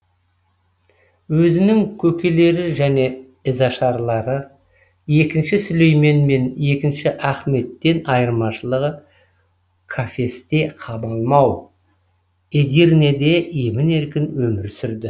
өзінің көкелері және ізашарлары екінші сүлеймен мен екінші ахметтен айырмашылығы кафесте қамалмай эдирнеде емін еркін өмір сүрді